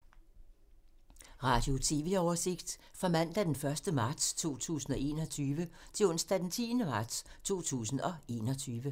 Radio/TV oversigt fra mandag d. 1. marts 2021 til onsdag d. 10. marts 2021